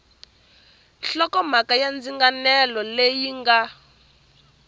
nhlokomhaka ya ndzinganelo leyi nga